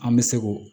An bɛ se k'o